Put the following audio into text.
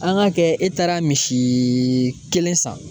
An ka kɛ e taara misi kelen san.